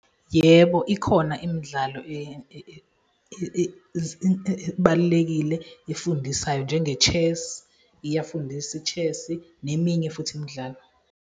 Yebo, ikhona imidlalo ebalulekile efundisayo njenge-chess, iyafundisa i-chess neminye futhi imidlalo.